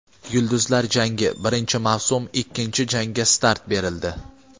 "Yulduzlar jangi": birinchi mavsum ikkinchi janga start berildi.